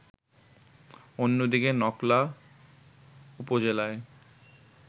অন্যদিকে নকলা উপজেলায়